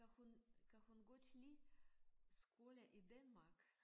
Kan hun kan hun godt lide skole i Danmark